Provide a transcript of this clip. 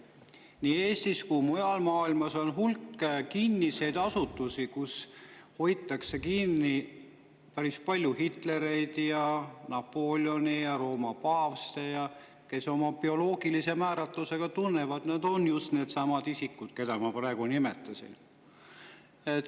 Nii Eestis kui ka mujal maailmas on hulk kinnised asutusi, kus hoitakse päris palju Hitlereid, Napoleone ja Rooma paavste, kes oma bioloogilisest määratlusest tunnevad, et nad on just needsamad isikud, keda ma praegu nimetasin.